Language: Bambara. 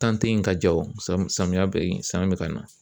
tɛ yen ka ja wo, samiya be yen samiya be ka na.